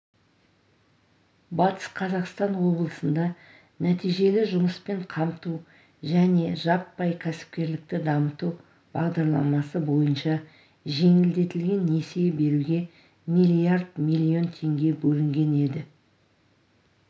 батыс қазақстан облысында нәтижелі жұмыспен қамту және жаппай кәсіпкерлікті дамыту бағдарламасы бойынша жеңілдетілген несие беруге миллиард млн теңге бөлінген еді